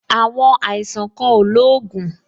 Àwọn àìsàn kan ò lóògùn